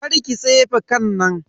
Karki tsefe kan nan.